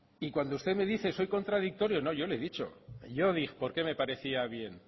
y cuando usted me dice soy contradictorio no yo le he dicho yo dije por qué me parecía bien